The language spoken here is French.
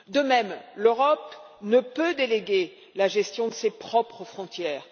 De même, l'Europe ne peut déléguer la gestion de ses propres frontières.